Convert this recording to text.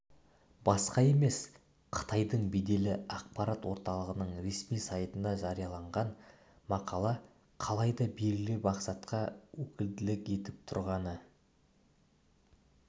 басқа емес қытайдың беделді ақпарат орталығының ресми сайтында жарияланған мақала қалайда белгілі мақсатқа өкілдік етіп тұрғаны